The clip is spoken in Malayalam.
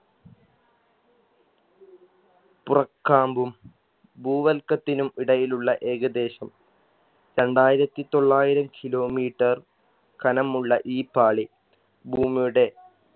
പുറക്കാമ്പും ഭൂവൽക്കത്തിനും ഇടയിലുള്ള ഏകദേശം രണ്ടായിരത്തി തൊള്ളായിരം kilometer കനമുള്ള ഈ പാളി ഭൂമിയുടെ